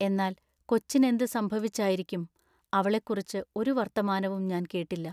എന്നാൽ കൊച്ചിനെന്തു സംഭവിച്ചായിരിക്കും? അവളെക്കുറിച്ച് ഒരു വർത്തമാനവും ഞാൻ കേട്ടില്ല.